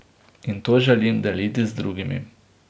In to želim deliti z drugimi.